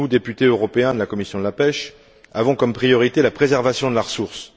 Nous, députés européens de la commission de la pêche, avons comme priorité la préservation de la ressource.